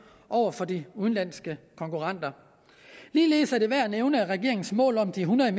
over for de udenlandske konkurrenter ligeledes er det værd at nævne at regeringens mål om de hundrede